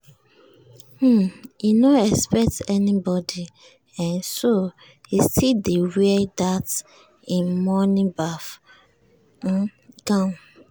um e no expect anybody um so e still dey wear that him morning baff um gown.